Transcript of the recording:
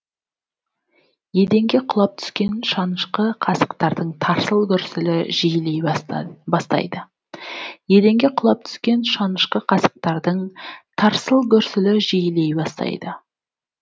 еденге құлап түскен шанышқы қасықтардың тарсыл гүрсілі жиілей бастайды еденге құлап түскен шанышқы қасықтардың тарсыл гүрсілі жиілей бастайды